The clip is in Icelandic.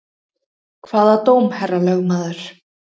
Hvaða dóm, herra lögmaður?